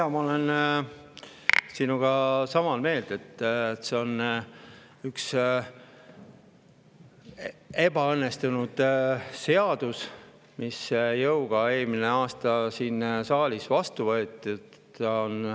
Jaa, ma olen sinuga sama meelt, et see on üks ebaõnnestunud seadus, mis eelmine aasta siin saalis jõuga vastu võeti.